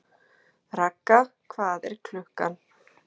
Ragga, hvað er klukkan?